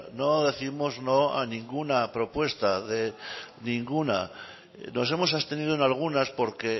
no décimos no a ninguna propuesta ninguna nos hemos abstenido en algunas porque